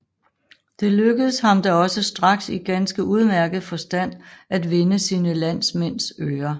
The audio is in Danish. Det lykkedes ham da også straks i ganske udmærket forstand at vinde sine landsmænds øre